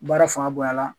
Baara fanga bonyala